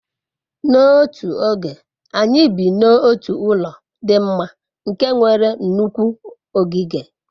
n'otu oge, anyi bi n'otu ulo di mma nke nwere nnukwu ogige